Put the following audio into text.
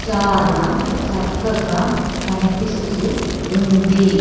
చాలా చక్కగా కనిపిస్తూ ఉంది.